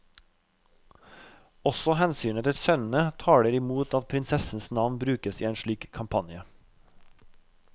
Også hensynet til sønnene taler i mot at prinsessens navn brukes i en slik kampanje.